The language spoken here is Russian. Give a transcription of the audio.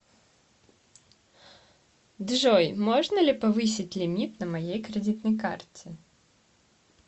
джой можно ли повысить лимит на моей кредитной карте